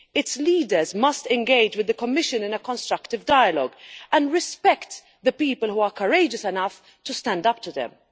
Its leaders must engage with the Commission in a constructive dialogue, and must respect the people who are courageous enough to stand up to them.